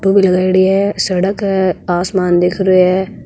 फोटो लगाई डी है सड़क है आसमान दिख रहो है।